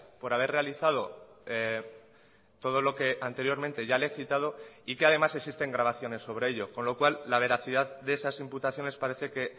por haber realizado todo lo que anteriormente ya le he citado y que además existen grabaciones sobre ello con lo cual la veracidad de esas imputaciones parece que